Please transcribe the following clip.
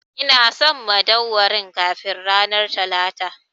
Ina son madauwarin kafin ranar Talata!